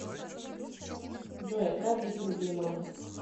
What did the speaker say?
джой отправь двести рублей маме